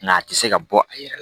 Nka a tɛ se ka bɔ a yɛrɛ la